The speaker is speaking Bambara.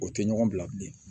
O tɛ ɲɔgɔn bila bilen